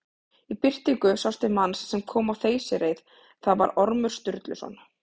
Í birtingu sást til manns sem kom á þeysireið, það var Ormur Sturluson.